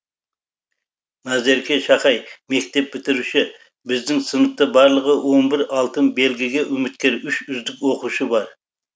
назерке шахай мектеп бітіруші біздің сыныпта барлығы он бір алтын белгіге үміткер үш үздік оқушы бар